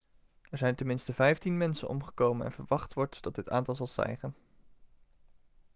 er zijn ten minste 15 mensen omgekomen en verwacht wordt dat dit aantal zal stijgen